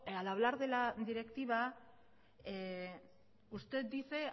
al hablar de la directiva usted dice